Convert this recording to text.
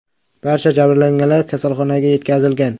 Barcha jabrlanganlar kasalxonaga yetkazilgan.